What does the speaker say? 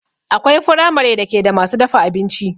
Akwai firamare da ke da masu dafa abinci